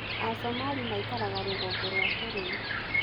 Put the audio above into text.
Asomali maikaraga rũgongo rwa bũrũri.